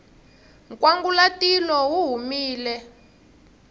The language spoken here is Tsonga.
nkwangulatilo wu humile